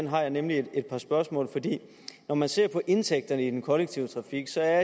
har jeg nemlig et par spørgsmål når man ser på indtægterne i den kollektive trafik ser